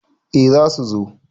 eh za su zo